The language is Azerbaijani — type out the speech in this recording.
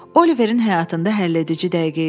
Oliverin həyatında həlledici dəqiqə idi.